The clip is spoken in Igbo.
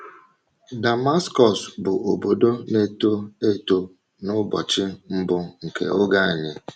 DAMASKỌS bụ obodo na-eto eto n’ụbọchị mbụ nke Oge Anyi.